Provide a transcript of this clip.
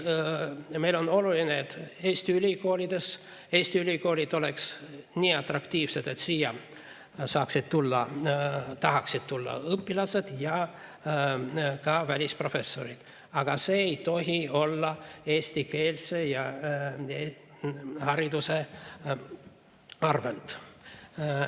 Meile on oluline, et Eesti ülikoolid oleks nii atraktiivsed, et siia tahaksid tulla välisüliõpilased ja ka välisprofessorid, aga see ei tohi tulla eestikeelse hariduse arvelt.